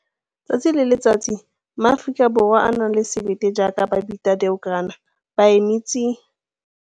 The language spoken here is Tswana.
Tsatsi le letsatsi, maAforika Borwa a a nang le sebete jaaka Babita Deokaran ba eme tsi!